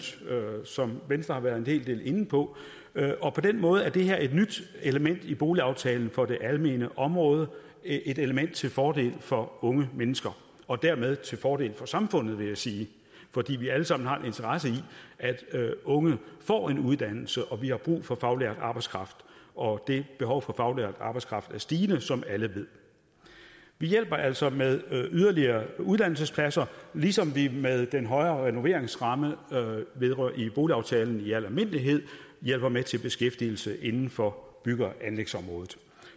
som venstre har været en hel del inde på på den måde er det her et nyt element i boligaftalen for det almene område et element til fordel for unge mennesker og dermed til fordel for samfundet vil jeg sige fordi vi alle sammen har en interesse i at unge får en uddannelse vi har brug for faglært arbejdskraft og det behov for faglært arbejdskraft er stigende som alle ved vi hjælper altså med yderligere uddannelsespladser ligesom vi med den højere renoveringsramme i boligaftalen i al almindelighed hjælper med til beskæftigelse inden for bygge og anlægsområdet